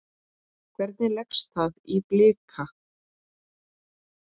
Hvernig leggst það í Blika?